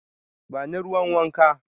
Ba ni ruwan wanka.